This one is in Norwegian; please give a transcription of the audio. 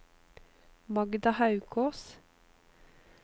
Magda Haukås